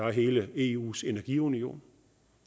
hele eus energiunion